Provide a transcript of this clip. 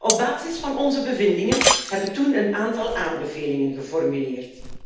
Op basis van onze bevindingen hebben we toen een aantal aanbevelingen geformuleerd.